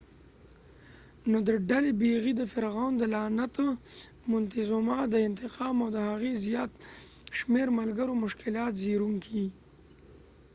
نو د ډلي بیلي د فرعون د لعنت مونتیزوما د انتقام او د هغې زیات شمیر ملګرو مشکلات زیږونکي